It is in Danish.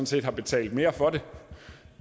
set har betalt mere for det